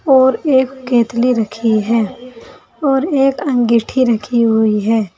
और एक केतली रखी है और एक अंगीठी रखी हुई है।